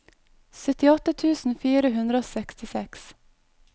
syttiåtte tusen fire hundre og sekstiseks